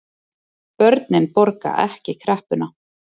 Börnin borgi ekki kreppuna